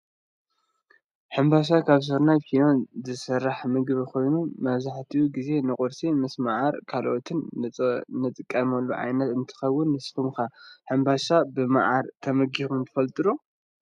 ሕንባሻ ካብ ስርናይን ፊኖን ዝስራሕ ምግቢ ኮይኑ፣ መብዛሕቱኡ ግዜ ንቁርሲ ምስ ማዓርን ካልኦትን ንጥቀመሉ ዓይነት እንትከውን፤ ንሱኩም'ከ ሕንባሻ ብማዓር ተመጊብኩም ትፈልጡ'ዶ?